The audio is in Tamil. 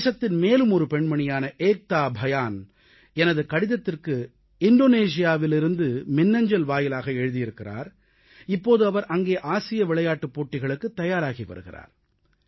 தேசத்தின் மேலும் ஒரு பெண்மணியான ஏக்தா பயான் எனது கடிதத்திற்கு இந்தோனேசியாவிலிருந்து மின்னஞ்சல் வாயிலாக எழுதியிருக்கிறார் இப்போது அவர் அங்கே ஆசிய விளையாட்டுப் போட்டிகளுக்குத் தயாராகி வருகிறார்